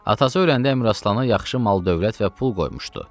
Atası öləndə Əmiraslana yaxşı mal, dövlət və pul qoymuşdu.